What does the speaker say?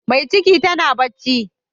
Mai ciki tana bacci.